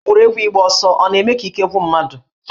Egwuregwu ịgba ọsọ ọ na-eme ka ike gwụ mmadụ?